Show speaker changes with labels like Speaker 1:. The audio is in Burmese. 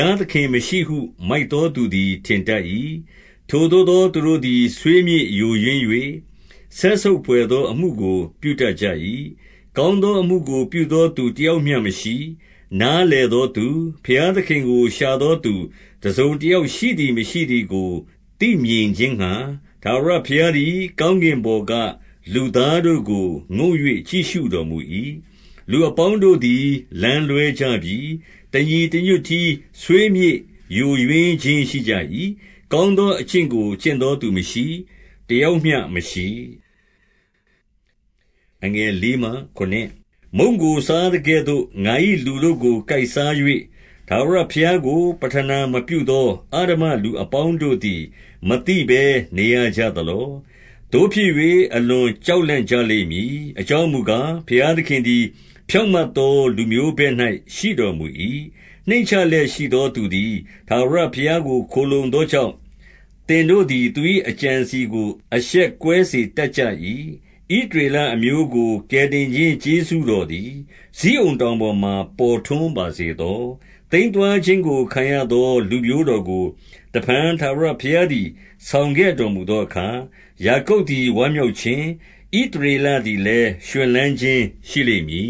Speaker 1: ားသခင်မရှိဟု မိုက်သောသူသည် ထင်တတ် ၏။ ထိုသို့သော သူတို့သည် ဆွေးမြေ့ယိုယွင်း၍ စက်ဆုပ် ဘွယ်သော အမှုကို ပြုတတ်ကြ၏။ ကောင်းသောအမှုကို ပြုသော သူတယောက်မျှမရှိ။ 2 နားလည်သောသူ၊ ဘုရားသခင်ကိုရှာသော သူတစုံတယောက်ရှိ သည်မရှိသည်ကို သိမြင်ခြင်းငှါ ထာဝရဘုရားသည် ကောင်းကင်ပေါ်က လူသားတို့ကို ငုံ့၍ကြည့်ရှုတော်မူ၏။ 3 လူအပေါင်းတို့သည် လမ်းလွှဲကြပြီ။ တညီ တညွတ်တည်း ဆွေးမြေ့ယိုယွင်းခြင်းရှိကြ၏။ ကောင်း သော အကျင့်ကို ကျင့်သော သူမရှိ။ တယောက်မျှမရှိ။ 4 မုန့်ကိုစားသကဲ့သို့ ငါ၏လူတို့ကို ကိုက်စား၍၊ ထာဝရဘုရားကို ပဌနာမပြုသော အဓမ္မလူအပေါင်းတို့ သည် မသိဘဲ နေရကြသလော။ 5 သို့ဖြစ်၍ အလွန်ကြောက်လန့်ကြလိမ့်မည်။ အကြောင်းမူကား၊ ဘုရားသခင်သည် ဖြောင့်မတ်သော လူမျိုးဘက်၌ရှိတော်မူ၏။ 6 နှိမ့်ချလျက်ရှိသော သူသည် ထာဝရဘုရားကို ခိုလှုံသောကြောင့်၊ သင်တို့သည် သူ၏အကြံအစည်ကို အရှက်ကွဲစေတတ်ကြ၏။ 7 ဣသရေလအမျိုးကို ကယ်တင်ခြင်း ကျေးဇူး တော်သည်၊ ဇိအုန်တောင်ပေါ်မှာ ပေါ်ထွန်းပါစေသော။ သိမ်းသွားခြင်းကို ခံရသော လူမျိုးတော်ကို တဖန်ထာဝ ဘုရားသည် ဆောင်ခဲ့တော်မူသောအခါ၊ ယာကုပ်သည် ဝမ်းမြောက်ခြင်း၊ ဣသရေလသည်လည်း ရွှင်လန်းခြင်း ရှိလိမ့်မည